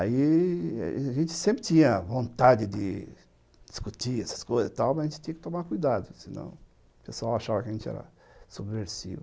Aí, a gente sempre tinha vontade de discutir essas coisas e tal, mas a gente tinha que tomar cuidado, senão o pessoal achava que a gente era subversivo.